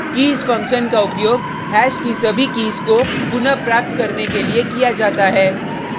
keys function का उपयोग hash की सभी कीज़ को पुनः प्राप्त करने के लिये किया जाता है